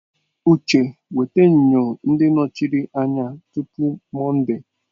Uche weta enyo ndị nọchiri anya tupu Mọnde!